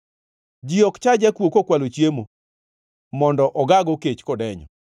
Ji ok cha jakuo kokwalo chiemo mondo ogaago kech kodenyo.